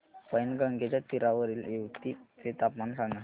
पैनगंगेच्या तीरावरील येवती चे तापमान सांगा